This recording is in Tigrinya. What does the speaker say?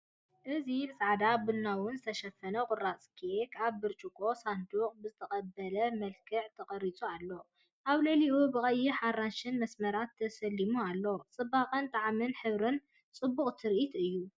እዚ ብጻዕዳን ቡናውን ዝተሸፈነ ቁራጽ ኬክ፡ ኣብ ብርጭቆ ሳንዱቕ ብዝተቐበለ መልክዕ ተቐሪጹ ኣሎ። ኣብ ልዕሊኡ ብቐይሕን ኣራንሺን መስመራት ተሰሊሙ ኣሎ። ጽባቐ ጣዕምን ሕብርን ጽቡቕ ትርኢት'ዩ።